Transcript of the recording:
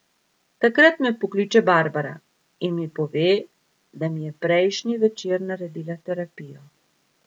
Takrat me pokliče Barbara in mi pove, da mi je prejšnji večer naredila terapijo.